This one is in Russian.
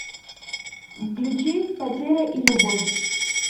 включи потеря и любовь